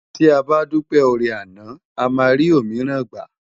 Ti á bá dúpé órè àná àmá ri ómirán gbá